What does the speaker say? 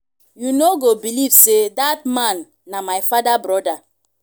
you know go believe say dat man na my father broda